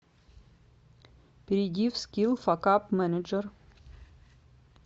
перейди в скилл факап менеджер